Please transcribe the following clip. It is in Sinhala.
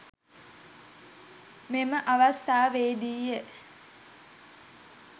මෙම අවස්ථාවේදීය.